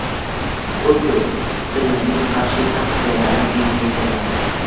Tokio Pxenyanga qarshi sanksiyalarni kengaytirmoqda.